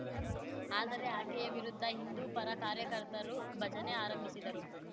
ಆದರೆ ಆಕೆಯ ವಿರುದ್ಧ ಹಿಂದೂಪರ ಕಾರ್ಯಕರ್ತರು ಭಜನೆ ಆರಂಭಿಸಿದರು